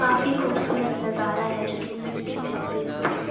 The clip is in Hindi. काफी खूबसूरत नजारा है जो कि मिट्टी में उगे हुए हैं।